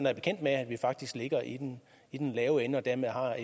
er bekendt med at vi faktisk ligger i den i den lave ende og dermed har